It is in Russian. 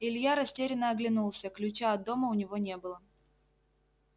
илья растерянно оглянулся ключа от дома у него не было